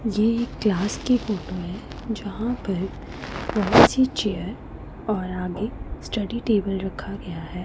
ये एक क्लास की फोटो है जहां पर बहुत सी चेयर और आगे स्टडी टेबल रखा गया है।